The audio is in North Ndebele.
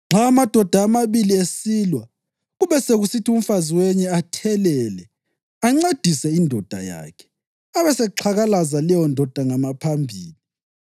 Nxa amadoda amabili esilwa kube sekusithi umfazi wenye athelele, ancedise indoda yakhe, abesexhakalaza leyondoda ngamaphambili,